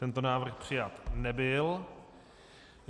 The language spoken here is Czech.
Tento návrh přijat nebyl.